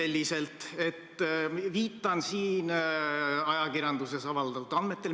Ma viitan siin ajakirjanduses avaldatud andmetele.